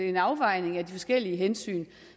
en afvejning af de forskellige hensyn